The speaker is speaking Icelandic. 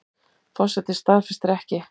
Forsetinn staðfestir ekki